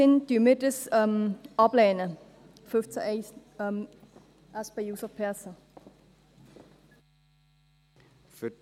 In diesem Sinn lehnen wir den Antrag SP-JUSO-PSA zu Artikel 15 Absatz 1 ab.